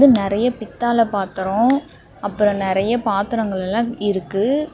நெறைய பித்தாளை பாத்ரோ அப்ரோ நறைய பாத்திரங்கள் எல்லாம் இருக்கு.